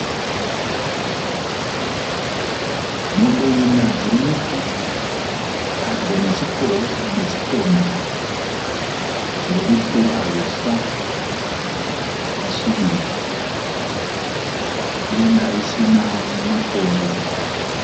Mombe ina dziri mugura, padyo nechikomo. Dziri kufura huswa hwakasvibiira denga risina makore.